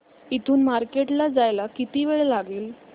इथून मार्केट ला जायला किती वेळ लागेल